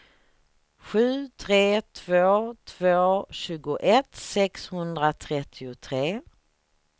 sju tre två två tjugoett sexhundratrettiotre